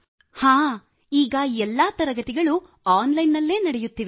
ಹಾಂ ಈಗ ಎಲ್ಲವೂ ಆನ್ ಲೈನ್ ನಲ್ಲಿ ತರಗತಿಗಳು ನಡೆಯುತ್ತಿವೆ